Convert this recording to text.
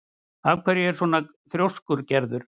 Af hverju ertu svona þrjóskur, Gerður?